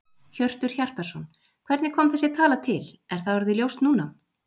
Hjörtur Hjartarson: Hvernig kom þessi tala til, er það orðið ljóst núna?